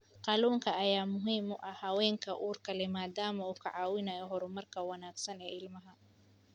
Kalluunka ayaa muhiim u ah haweenka uurka leh maadaama uu ka caawinayo horumarka wanaagsan ee ilmaha.